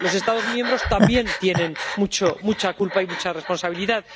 Los Estados miembros también tienen mucha culpa y mucha responsabilidad.